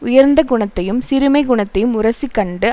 உயர்ந்த குணத்தையும் சிறுமைக் குணத்தையும் உரசிக்கண்டு